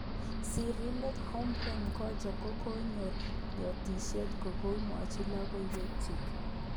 Siridet Humprey Mgonja kokonyo yotishet akoibwech lokowekchu